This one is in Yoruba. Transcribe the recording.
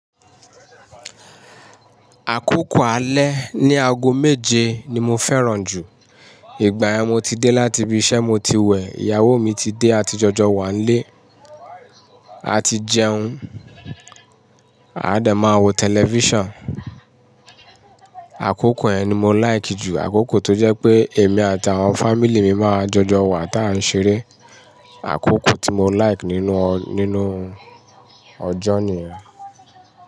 Àkókò alẹ́ ní aago méje ni mo fẹ́ràn jù. Igbayen mo ti dé láti ibi isẹ mo ti wẹ̀, ìyàwó mi ti dé àti jọjọ wa n lé, àti jẹun, a de máa wo tẹlifísàn. Àkókò yẹn ni mo like jù. Àkókò tó jẹ pé èmi àti àwọn fámílì mi máa jọjọ wa táa ń ṣeré. Àkókò tí mo like nínú, nínú ọjọ́ niyen.